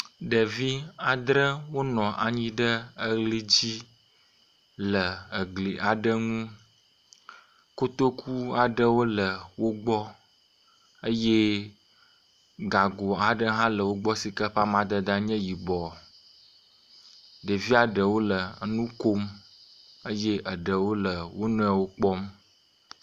Ɖevi adre wonɔ anyi ɖe eli dzi le egli aɖe ŋu. Kotoku aɖewo le wo gbɔ eye gago aɖe hã le wo gbɔ si ke ƒe amadede nye yibɔ. Ɖevia ɖewo le nu kom eye eɖewo le wo nɔewo kpɔm.